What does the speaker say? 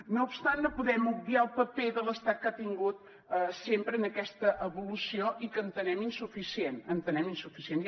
no obstant no podem obviar el paper de l’estat que ha tingut sempre en aquesta evolució i que entenem insuficient entenem insuficient